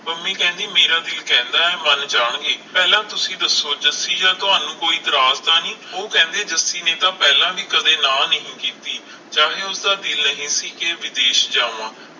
ਪੰਮੀ ਕਹਿੰਦੀ ਮੇਰਾ ਕਹਿੰਦਾ ਮੰਨ ਜਾਣ ਗੇ ਪਹਿਲਾ ਤੁਸੀ ਦਸੋ? ਜੱਸੀ ਜਾਂ ਥੋਨੂੰ ਕੋਈ ਇਤਰਾਜ ਤਾ ਨਹੀਂ? ਉਹ ਕਹਿੰਦੇ ਜੱਸੀ ਨੇ ਤਾਂ ਪਹਿਲਾ ਵੀ ਕਦੇ ਨਾਂਹ ਨਹੀਂ ਸੀ ਕੀਤੀ ਚਾਹੇ ਓਹਦਾ ਦਿਲ ਨਹੀਂ ਸੀ ਕੇ ਵਿਦੇਸ਼ ਜਾਵਾਂ